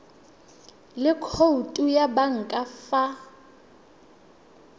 le khoutu ya banka fa